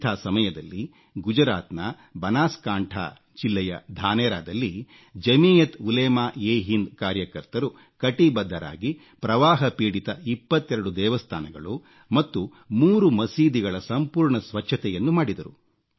ಇಂಥ ಸಮಯದಲ್ಲಿ ಗುಜರಾತ್ನ ಬನಾಸ್ಕಾಂಠಾ ಜಿಲ್ಲೆಯ ಧಾನೆರಾದಲ್ಲಿ ಜಮೀಯತ್ ಉಲೇಮಾ ಎ ಹಿಂದ್ ಕಾರ್ಯಕರ್ತರು ಕಟಿಬದ್ಧರಾಗಿ ಪ್ರವಾಹಪೀಡಿತ 22 ದೇವಸ್ಥಾನಗಳು ಮತ್ತು 3 ಮಸೀದಿಗಳ ಸಂಪೂರ್ಣ ಸ್ವಚ್ಛತೆಯನ್ನು ಮಾಡಿದರು